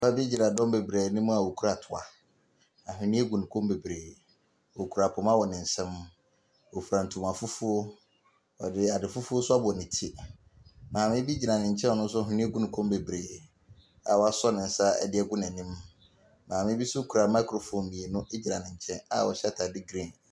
Papa bi gyina dɔm bebree anim a ɔkura toa. Ahweneɛ gu e kɔn mu bebree. Ɔkura poma wɔ ne nsam. Ɔfira ntoma fufuo. Ɔde ade fufuo nso abɔ ne ti. Maame bi gyina ne nkyɛn a ɔno nso nhweneɛ gu ne kɔn mu bebree a wasɔ ne nsa de agu n'anim. Maame bi nso kura microphone mmienu gyina ne nkyɛn a ɔhyɛ atadeɛ green.